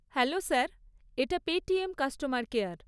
Hello sir, এটা Paytm customer care.